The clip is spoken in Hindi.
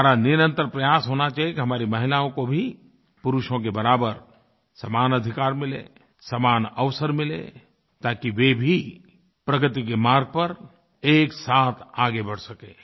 हमारा निरंतर प्रयास होना चाहिए कि हमारी महिलाओं को भी पुरुषों के बराबर समान अधिकार मिले समान अवसर मिले ताकि वे भी प्रगति के मार्ग पर एकसाथ आगे बढ़ सकें